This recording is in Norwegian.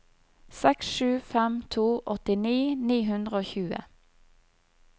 seks sju fem to åttini ni hundre og tjue